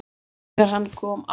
ÞEGAR HANN KOM AFTUR